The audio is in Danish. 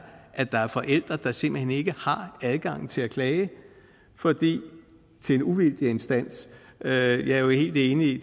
at der er forældre der simpelt hen ikke har adgang til at klage til en uvildig instans jeg er jo helt enig i